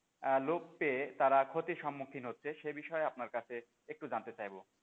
লোভ পেয়ে তারা ক্ষতি সম্মুখীন হচ্ছে সে বিষয়ে আপনার কাছে একটু জানতে চাইবো,